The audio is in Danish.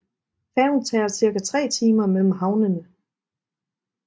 Færgen tager cirka tre timer mellem havnene